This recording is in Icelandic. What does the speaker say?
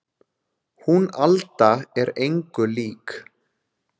Hún Alda er engu lík